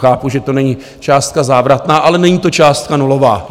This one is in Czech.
Chápu, že to není částka závratná, ale není to částka nulová.